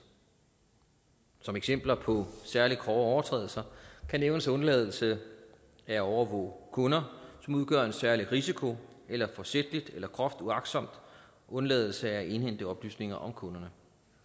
som eksempler på særlig grove overtrædelser kan nævnes undladelse af at overvåge kunder som udgør en særlig risiko eller forsætlig eller groft uagtsom undladelse af at indhente oplysninger om kunderne